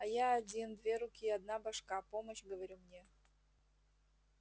а я один две руки одна башка помощь говорю мне